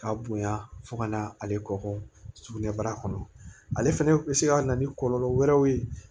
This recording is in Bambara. K'a bonya fo ka na ale kɔkɔ sugunɛbara kɔnɔ ale fɛnɛ be se ka na ni kɔlɔlɔ wɛrɛw ye